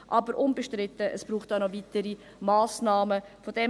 Es ist aber unbestritten, dass es noch weitere Massnahmen braucht.